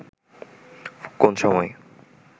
কোন সময়